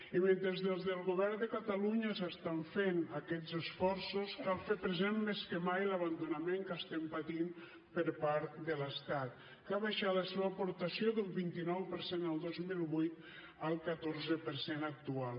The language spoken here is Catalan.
i mentre des del govern de catalunya s’estan fent aquests esforços cal fer present més que mai l’abandonament que estem patint per part de l’estat que ha baixat la seva aportació d’un vint nou per cent el dos mil vuit al catorze per cent actual